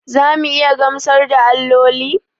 Za mu iya gamsar da alloli?